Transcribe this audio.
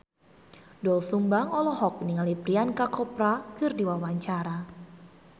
Doel Sumbang olohok ningali Priyanka Chopra keur diwawancara